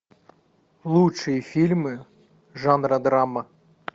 лучшие фильмы жанра драма